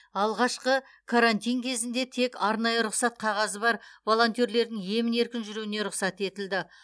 алғашқы карантин кезінде тек арнайы рұқсат қағазы бар волонтерлердің емін еркін жүруіне рұқсат етілді